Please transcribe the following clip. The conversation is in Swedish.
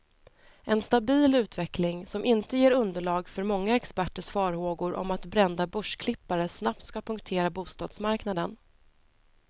En stabil utveckling, som inte ger underlag för många experters farhågor om att brända börsklippare snabbt ska punktera bostadsmarknaden.